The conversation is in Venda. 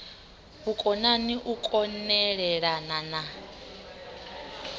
vhukonani u kon elelana na